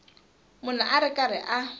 munhu a ri karhi a